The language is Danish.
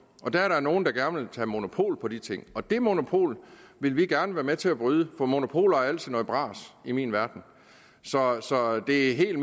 der er så nogen der gerne vil have monopol på de ting og det monopol vil vi gerne være med til at bryde for monopoler er altid noget bras i min verden så så det er helt